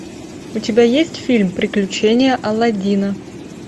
у тебя есть фильм приключения алладина